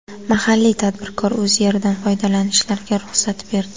Mahalliy tadbirkor o‘z yeridan foydalanishlariga ruxsat berdi.